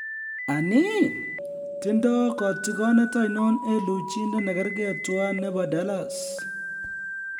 Anii, tindo kotigonet oinon en luchindet ne kergei tuan nebo Dallas?